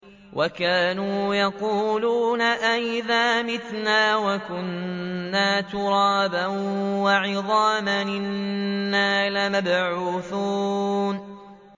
وَكَانُوا يَقُولُونَ أَئِذَا مِتْنَا وَكُنَّا تُرَابًا وَعِظَامًا أَإِنَّا لَمَبْعُوثُونَ